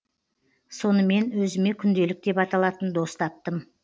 сонымен өзіме күнделік деп аталатын дос таптым